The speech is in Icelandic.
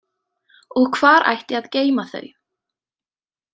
Og hvar ætti að geyma þau?